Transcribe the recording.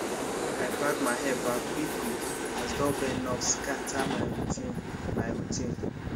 i pack my hair back quick quick as doorbell knock scatter my routine my routine